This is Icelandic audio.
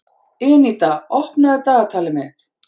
Eníta, opnaðu dagatalið mitt.